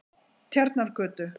Tjarnargötu